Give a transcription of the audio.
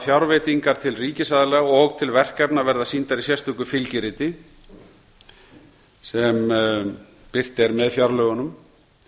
fjárveitingar til ríkisaðila og til verkefna verða sýndar í sérstöku fylgiriti sem birt er með fjárlögunum